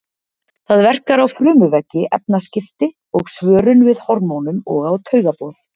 Það verkar á frumuveggi, efnaskipti og svörun við hormónum og á taugaboð.